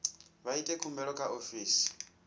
vha ite khumbelo kha ofisi